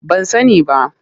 Ban sani ba.